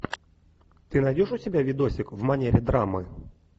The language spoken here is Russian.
ты найдешь у себя видосик в манере драмы